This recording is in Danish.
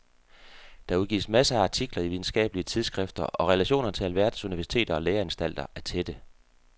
Der udgives masser af artikler i videnskabelige tidsskrifter og relationerne til alverdens universiteter og læreanstalter er tætte.